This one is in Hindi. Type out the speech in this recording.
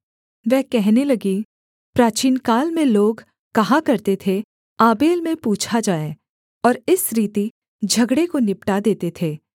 वह कहने लगी प्राचीनकाल में लोग कहा करते थे आबेल में पूछा जाए और इस रीति झगड़े को निपटा देते थे